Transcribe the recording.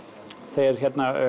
þau eru